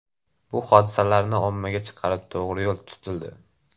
Bu hodisalarni ommaga chiqarib to‘g‘ri yo‘l tutildi.